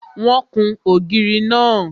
Wọ́n kún ògiri náà.